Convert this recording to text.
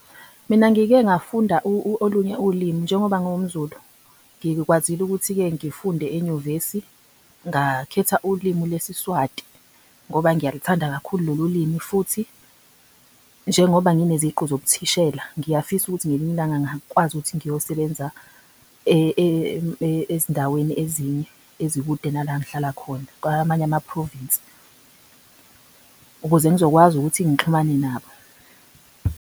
Mina ngike ngafunda olunye ulimi njengoba njengoba ngiwumZulu ngikwazile ukuthi-ke ngifunde enyuvesi ngakhetha ulimi leSiswati ngoba ngiyalithanda kakhulu lolulimi futhi njengoba ngine ziqu zobuthisela ngiyafisa ukuthi ngelinye ilanga ngingakwazi ukuthi ngiyosebenza ezindaweni ezinye ezikude nalana engihlala khona kwamanye ama-province ukuze ngizokwazi ukuthi ngixhumane nabo.